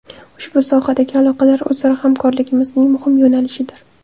Ushbu sohadagi aloqalar o‘zaro hamkorligimizning muhim yo‘nalishidir”.